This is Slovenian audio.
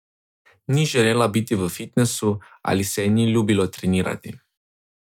Ni želela biti v fitnesu ali se ji ni ljubilo trenirati?